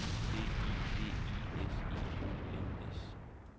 D I V I S I O N S